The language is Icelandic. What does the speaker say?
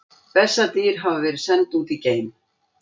Bessadýr hafa verið send út í geim!